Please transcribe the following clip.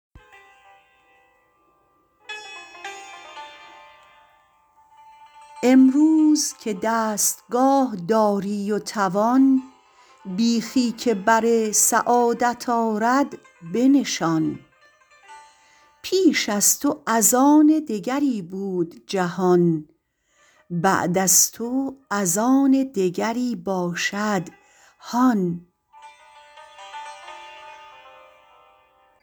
امروز که دستگاه داری و توان بیخی که بر سعادت آرد بنشان پیش از تو از آن دگری بود جهان بعد از تو از آن دگری باشد هان